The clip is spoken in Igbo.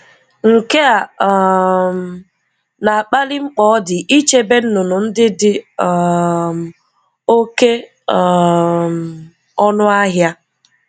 Nke a um na-akpali mkpa ọ dị ichebe nnụnụ ndị dị um oké um ọnụ ahịa.